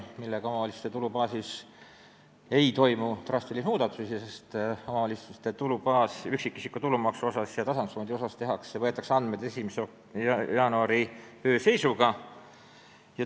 Nii ei toimu omavalitsuste tulubaasis drastilisi muutusi, sest üksikisiku tulumaksuga ja tasandusfondiga seotud andmed võetakse 1. jaanuari öö seisuga.